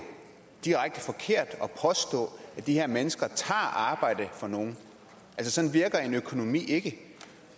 direkte forkert at påstå at de her mennesker tager arbejde fra nogle sådan virker en økonomi ikke